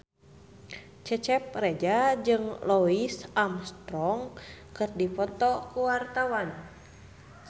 Cecep Reza jeung Louis Armstrong keur dipoto ku wartawan